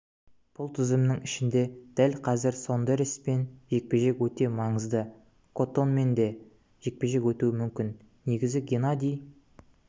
бұл тізімнің ішінде дәл қазір сондереспен жекпе-жек өте маңызды коттомен де жекпе-жек өтуі мүмкін негізі геннадий